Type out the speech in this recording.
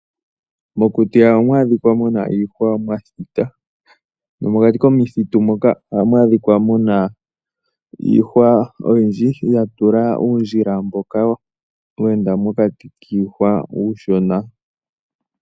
Mokuti ohamu adhika muna iihwa mwa thita. Nomokati komithitu mpoka oha mu adhika muna iihwa oyindji, ya tula uundjila mboka weenda pokati kiihwa mbyoka iishona.